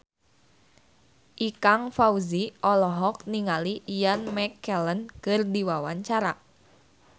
Ikang Fawzi olohok ningali Ian McKellen keur diwawancara